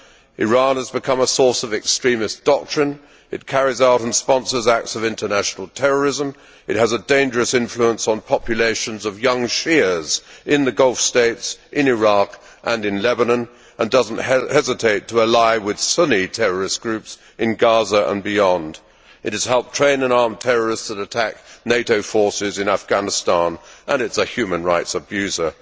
Iran has become a source of extremist doctrine, it carries out and sponsors acts of international terrorism, has a dangerous influence on populations of young Shias in the Gulf States, in Iraq and in Lebanon and does not hesitate to ally with Sunni terrorist groups in Gaza and beyond. It has helped train and arm terrorists that have attacked NATO forces in Afghanistan and it is a human rights abuser.